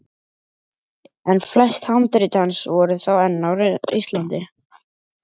En flest handrit hans voru þá enn á Íslandi.